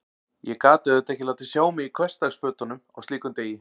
Ég gat auðvitað ekki látið sjá mig í hversdagsfötunum á slíkum degi.